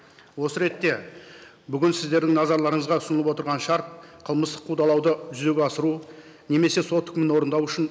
осы ретте бүгін сіздердің назарларыңызға ұсынылып отырған шарт қылмыстық қудалауды жүзеге асыру немесе сот үкімін орындау үшін